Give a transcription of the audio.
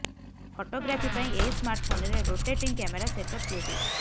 photography ପାଇଁ ଏହି ସ୍ମାର୍ଟଫୋନରେ ରୋଟେଟିଂ କ୍ୟାମେରା ସେଟ୍ଅପ୍ ଦିଆଯାଇଛି